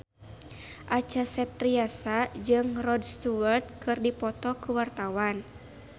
Acha Septriasa jeung Rod Stewart keur dipoto ku wartawan